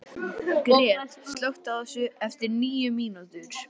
Gret, slökktu á þessu eftir níu mínútur.